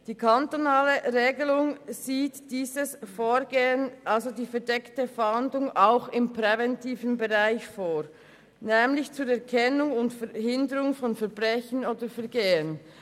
Die kantonale Regelung sieht dieses Vorgehen, also die verdeckte Fahndung, auch im präventiven Bereich vor, nämlich zur Erkennung und Verhinderung von Verbrechen oder Vergehen.